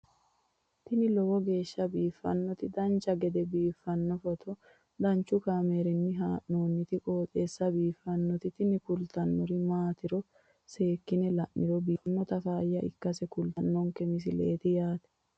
tini lowo geeshsha biiffannoti dancha gede biiffanno footo danchu kaameerinni haa'noonniti qooxeessa biiffannoti tini kultannori maatiro seekkine la'niro biiffannota faayya ikkase kultannoke misileeti yaate